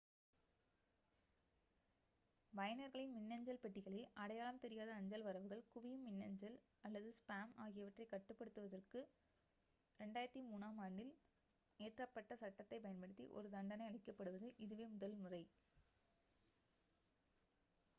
பயனர்களின் மின்னஞ்சல் பெட்டிகளில் அடையாளம் தெரியாத அஞ்சல் வரவுகள் குவியும் மின்னஞ்சல் அல்லது ஸ்பேம் ஆகியவற்றைக் கட்டுப்படுத்துவதற்கு 2003-ஆம் ஆண்டில் இயற்றப்பட்ட சட்டத்தைப் பயன்படுத்தி ஒரு தண்டனை அளிக்கப்படுவது இதுவே முதல் முறை